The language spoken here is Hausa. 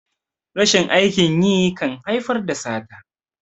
rashin aikin yi kan haifar da sata